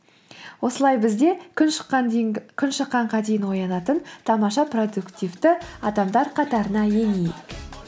осылай біз де күн шыққанға дейін оянатын тамаша продуктивті адамдар қатарына енейік